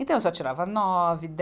Então, eu só tirava nove, dez.